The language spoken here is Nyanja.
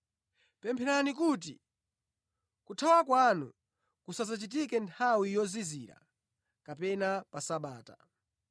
Pempherani kuti kuthawa kwanu kusadzachitike nthawi yozizira kapena pa Sabata.